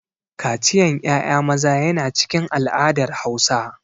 Kaciyan ƴaƴa maza yana cikin al'adar Hausa.